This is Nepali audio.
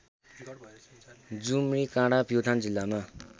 जुमृकाँडा प्युठान जिल्लामा